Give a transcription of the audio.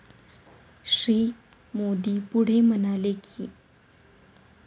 श्री. मोदी पुढे म्हणाले की,